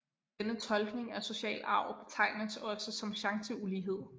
Denne tolkning af social arv betegnes også som chanceulighed